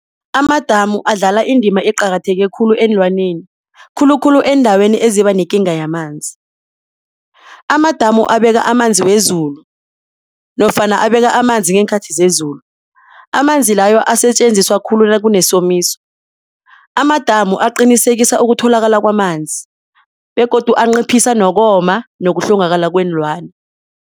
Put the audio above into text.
Amadamu adlala indima eqakatheke khulu eenlwaneni khulukhulu eendaweni ezibanekinga yamanzi. Amadamu abeka amanzi wezulu nofana abeka amanzi ngeenkhathi zezulu, manzi layo asetjenziswa khulu nakunesomiso. Amadamu aqinisekisa ukutholakala kwamanzi begodu anciphisa nokoma nokuhlongakala kweenlwana.